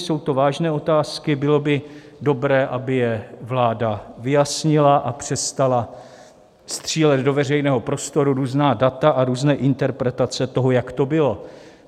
Jsou to vážné otázky, bylo by dobré, aby je vláda vyjasnila a přestala střílet do veřejného prostoru různá data a různé interpretace toho, jak to bylo.